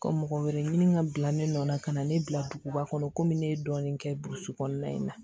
Ka mɔgɔ wɛrɛ ɲini ka bila ne nɔ la ka na ne bila duguba kɔnɔ komi ne ye dɔɔnin kɛ burusi kɔnɔna in na